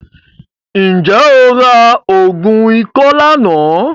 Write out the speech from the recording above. Ǹjẹ́ o ra oògùn ikọ́ lánàá?